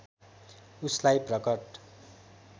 उसलाई प्रकट